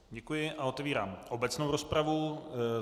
Děkuji a otevírám obecnou rozpravu.